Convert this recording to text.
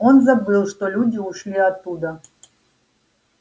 он забыл что люди ушли оттуда